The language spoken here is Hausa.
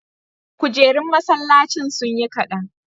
kujerun masallacin sunyi kadan